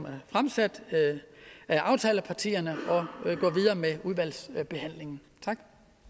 er fremsat af aftalepartierne og med udvalgsbehandlingen tak